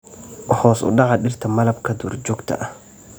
Hoos u dhaca dhirta malabka duurjoogta ah.